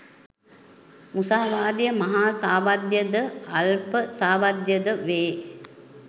මුසාවාදය මහා සාවද්‍ය ද අල්ප සාවද්‍ය ද වේ.